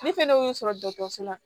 Ne fɛnɛ y'o sɔrɔ dɔkɔtɔrɔso la